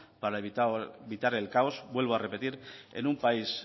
para evitar el caos vuelvo a repetir en un país